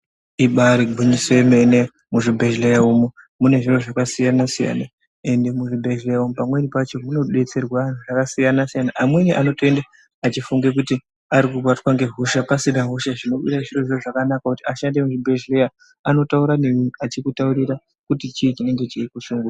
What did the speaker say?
Ibari gwinyisi yemene muzvibhedhleya umu munezviro zvakasiyana -siyana, ende muzvibhedhleya umu pamweni pacho munodetserwa antu akasiyana-siyana. Amweni anotoende achifunga kuti ari kubatwa ngehosha pasina hosha zvinova zvirozvo zvakanaka kuti ashandi muzvibhedhleya anotaura nemi achikutaurira kuti chii chinenge chikushungurudza.